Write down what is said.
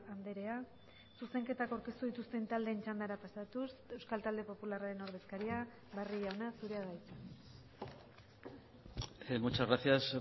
andrea zuzenketak aurkeztu dituzten taldeen txandara pasatuz euskal talde popularraren ordezkaria barrio jauna zurea da hitza muchas gracias